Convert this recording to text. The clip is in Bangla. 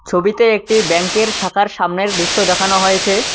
ছবিতে একটি ব্যাংকের শাখার সামনের দৃশ্য দেখানো হয়েছে।